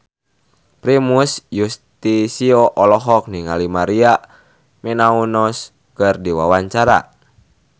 Primus Yustisio olohok ningali Maria Menounos keur diwawancara